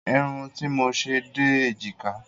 Irun tí mo ṣe dé èjìká